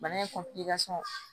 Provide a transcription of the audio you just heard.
Bana in